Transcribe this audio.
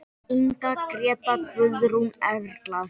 Inga, Gréta, Guðrún, Erla.